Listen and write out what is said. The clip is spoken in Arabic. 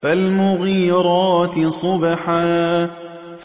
فَالْمُغِيرَاتِ صُبْحًا